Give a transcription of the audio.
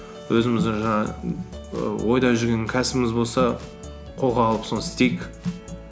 өзіміздің жаңағы і ойда жүрген кәсібіміз болса қолға алып соны істейік